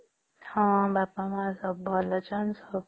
ହଁ ବାପା ମା ସବୁ ଭଲ ଆଚ୍ଛନ